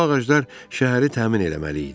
Bu ağaclar şəhəri təmin eləməli idi.